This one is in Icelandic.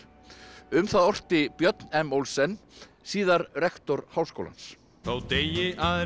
um það orti Björn m Olsen síðar rektor Háskólans þó deyi aðrir